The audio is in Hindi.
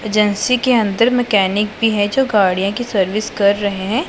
एजेंसी के अंदर मैकेनिक भी है जो गाड़ियां की सर्विस कर रहे हैं।